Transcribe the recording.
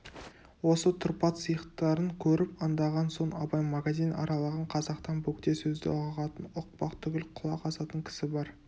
осы тұрпат-сиықтарын көріп аңдаған соң абай магазин аралаған қазақтан бөгде сөзді ұғатын ұқпақ түгіл құлақ асатын кісі бар